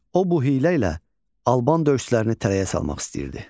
O bu hiylə ilə alban döyüşçülərini tələyə salmaq istəyirdi.